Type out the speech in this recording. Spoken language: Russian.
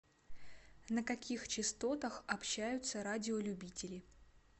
на каких частотах общаются радиолюбители